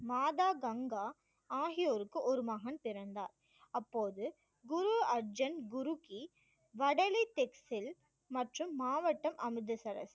மாதா கங்கா ஆகியோருக்கு ஒரு மகன் பிறந்தான் அப்போது குரு அர்ஜன் மற்றும் மாவட்டம் அமிர்தசரஸ்